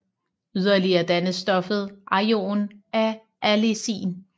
Yderligere dannes stoffet ajoen af allicin